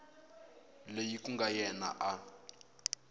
loyi ku nga yena a